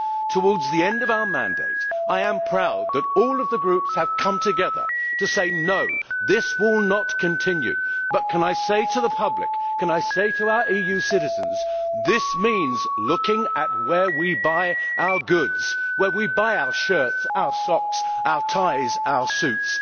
Towards the end of our mandate, I am proud that all of the Groups have come together to say no, this will not continue, but can I say to the public, can I say to our EU citizens, this means looking at where we buy our goods, where we buy our shirts, our socks, our ties and our suits.